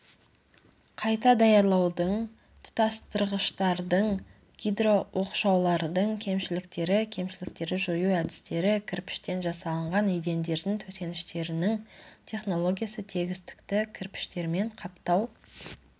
қайта даярлаудың тұтастырғыштардың гидрооқшаулардың кемшіліктері кемшіліктерді жою әдістері кірпіштен жасалынған едендердің төсеніштерінің технологиясы тегістікті кірпіштермен қаптау